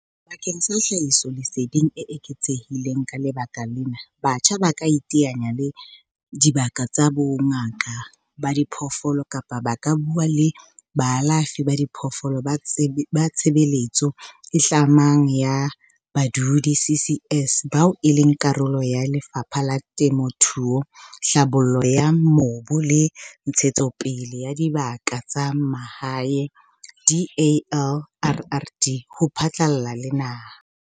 Bakeng sa tlhahisoleseding e eketsehileng ka lekala lena, batjha ba ka iteanya le dibaka tsa bongaka ba diphoofolo kapa ba ka bua le baalafi ba diphoofolo ba tshebeletso e tlamang ya badudi, CCS, bao e leng karolo ya Lefapha la Temothuo, Tlhabollo ya Mobu le Ntshetsopele ya Dibaka tsa Mahae, DALRRD, ho phatlalla le naha.